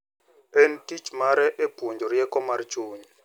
En tich mare e puonjo rieko mar chuny.